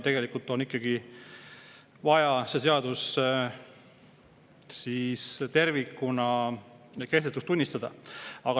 Tegelikult on ikkagi vaja see seadus tervikuna kehtetuks tunnistada.